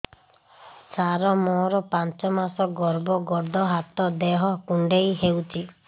ସାର ମୋର ପାଞ୍ଚ ମାସ ଗର୍ଭ ଗୋଡ ହାତ ଦେହ କୁଣ୍ଡେଇ ହେଉଛି